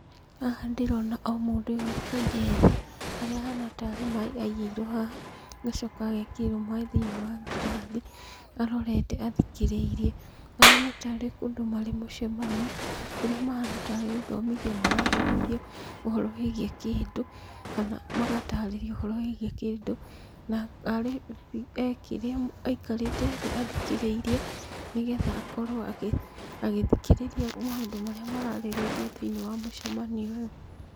Haha ndĩrona o mũndũ wũikaire thĩ, haria ahana tarĩ maaĩ aigĩirwo haha, agacoka agekĩrĩrwo maaĩ thĩiniĩ wa ngirathi, arorete athikĩrĩirie. Mahana taarĩ kũndũ marĩ mũcemanio, kũrĩa mahana taarĩ gũthomithio marathomithio ũhoro wĩgiĩ kĩndũ, kana magatarĩrio ũhoro wĩgiĩ kĩndũ, na arĩ e kĩrĩa aĩkarĩte thĩ athikĩrĩirie, nĩgetha akorwo ago agithikĩrĩria maũndũ marĩa mararĩrĩrio thĩiniĩ wa mũcemanio ũyũ.